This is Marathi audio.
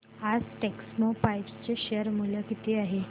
आज टेक्स्मोपाइप्स चे शेअर मूल्य किती आहे